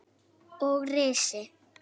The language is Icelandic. Og risi!